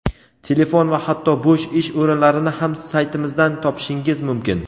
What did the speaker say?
telefon va hatto bo‘sh ish o‘rinlarini ham saytimizdan topishingiz mumkin.